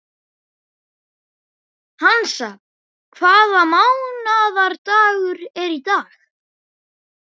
Hansa, hvaða mánaðardagur er í dag?